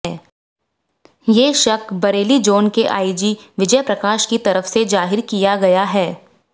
ये शक बरेली जोन के आईजी विजय प्रकाश की तरफ से जाहिर किया गया है